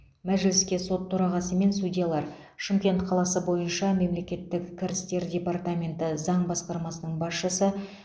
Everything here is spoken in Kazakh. мәжіліске сот төрағасы мен судьялар шымкент қаласы бойынша мемлекеттік кірістер департаменті заң басқармасының басшысы